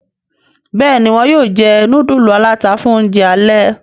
Béèni wón yóò jé nudulu alata fún oúnjẹ alè.